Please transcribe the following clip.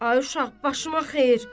Ay uşaq, başıma xeyir.